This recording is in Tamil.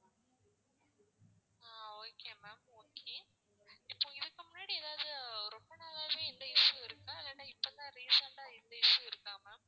ஆஹ் okay ma'am okay இப்போ இதுக்கு முன்னாடி ஏதாவது ரொம்ப நாளாவே இந்த issue இருக்கா இல்லந்னா இப்போ தான் recent ஆ இந்த issue இருக்கா ma'am